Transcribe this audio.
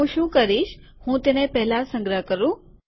હું શું કરીશ કે હું તેને પહેલા સંગ્રહ કરું